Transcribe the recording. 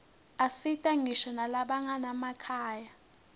asita ngisho nalabanganamakhaya